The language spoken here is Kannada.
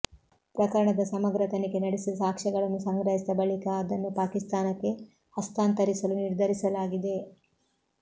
ಪ್ರಕರಣದ ಸಮಗ್ರ ತನಿಖೆ ನಡೆಸಿ ಸಾಕ್ಷ್ಯಗಳನ್ನು ಸಂಗ್ರಹಿಸಿದ ಬಳಿಕ ಅದನ್ನು ಪಾಕಿಸ್ತಾನಕ್ಕೆ ಹಸ್ತಾಂತರಿಸಲು ನಿರ್ಧರಿಸಲಾಗಿದೆ